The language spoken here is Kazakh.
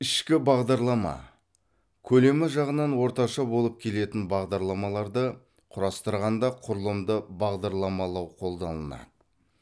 ішкі бағдарлама көлемі жағынан орташа болып келетін бағдарламаларды құрастырғанда құрылымды бағдарламалау қолданылады